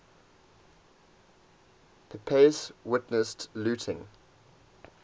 pepys witnessed looting